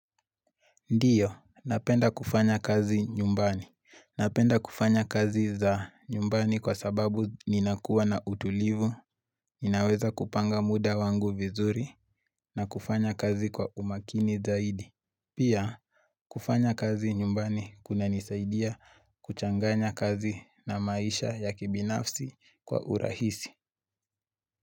Ndiyo, napenda kufanya kazi nyumbani. Napenda kufanya kazi za nyumbani kwa sababu ninakua na utulivu, ninaweza kupanga muda wangu vizuri, na kufanya kazi kwa umakini zaidi. Pia, kufanya kazi nyumbani kuna nisaidia kuchanganya kazi na maisha ya kibinafsi kwa urahisi.